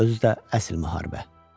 Özü də əsl müharibə.